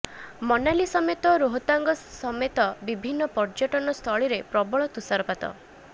ମନାଲି ସମେତ ରୋହତାଙ୍ଗ ସସେତ ବିଭିନ୍ନ ପର୍ଯ୍ୟଟନ ସ୍ଥଳିରେ ପ୍ରବଳ ତୁଷାରପାତ